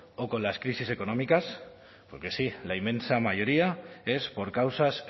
o con las crisis económicas porque sí la inmensa mayoría es por causas